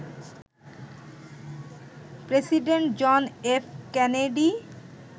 president John F Kennedy